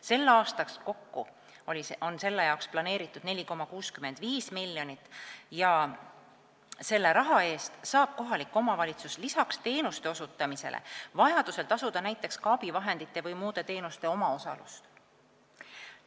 Selleks aastaks on selle jaoks planeeritud kokku 4,65 miljonit ja selle raha eest saab kohalik omavalitsus lisaks teenuste osutamisele vajadusel tasuda näiteks ka abivahendite või muude teenuste omaosalust.